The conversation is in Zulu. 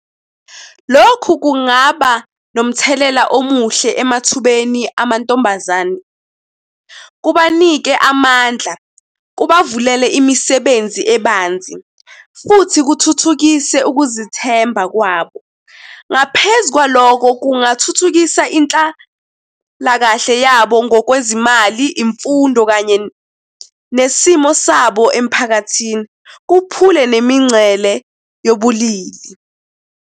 Lokhu kungaba nomthelela omuhle emathubeni amantombazane, kubanikeza amandla, kubavumele imisebenzi ebanzi, futhi kuthuthukise ukuzithemba kwabo. Ngaphezu kwaloko, kungathuthukisa inhlalakahle yabo ngokwezimali, imfundo kanye nesimo sabo emiphakathini kukhuphule nemingcele yobulili.